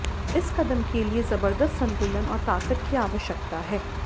इस कदम के लिए जबरदस्त संतुलन और ताकत की आवश्यकता है